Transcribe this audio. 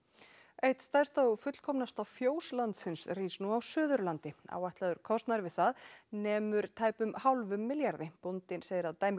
eitt stærsta og fullkomnasta fjós landsins rís nú á Suðurlandi áætlaður kostnaður við það nemur tæpum hálfum milljarði bóndinn segir að dæmið